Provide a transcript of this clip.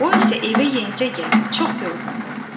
O isə evə yenicə gəlib, çox yorğundur.